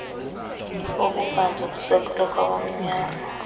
obubanzi olusekelwe kwabamnyama